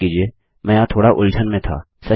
माफ कीजिए मैं यहाँ थोड़ा उलझन में था